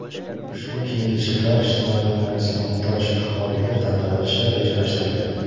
Ushbu kiyim-kechaklar ijtimoiy himoyaga muhtoj aholiga tarqatilishi rejalashtirilgan.